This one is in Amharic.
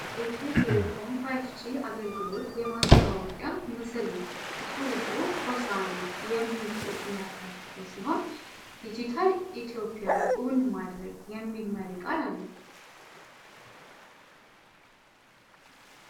የኢትዮ ቴሌኮም 5G አገልግሎት የማስተዋወቂያ ምስል ነው። ጽሑፉ "ሆሳዕና" የሚል ጽሁፍን ያካተተ ሲሆን "ዲጂታል ኢትዮጵያን እውን ማድረግ" የሚል መሪ ቃል አለው።